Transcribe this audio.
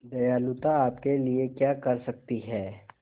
दयालुता आपके लिए क्या कर सकती है